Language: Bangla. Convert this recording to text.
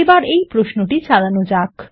এবার প্রশ্নটি চালানো যাক